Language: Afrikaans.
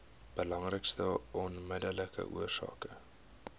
belangrikste onmiddellike oorsake